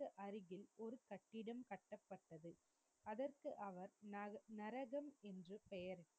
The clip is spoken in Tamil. அதற்க்கு அவர் நகர், நரகம் என்று பெயர்.